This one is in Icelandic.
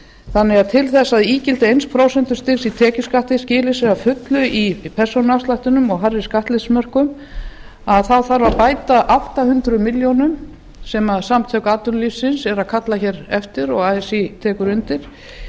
þannig að til þess að ígildi eitt prósent í tekjuskatti skili sér að fullu í persónuafslættinum og hærri skattleysismörkum þarf að bæta átta hundruð milljónum sem samtök atvinnulífsins eru að kalla hér eftir og así tekur undir